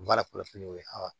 Baara kɔlɔsiliw ye